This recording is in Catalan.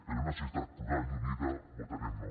per una societat plural i unida votarem no